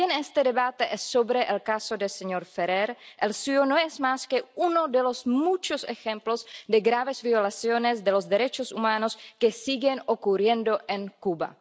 Pero el caso del señor Ferrer no es más que uno de los muchos ejemplos de graves violaciones de los derechos humanos que siguen ocurriendo en Cuba.